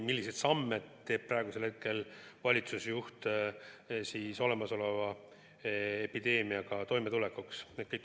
Milliseid samme astub praegune valitsusjuht epideemiaga toime tulemiseks?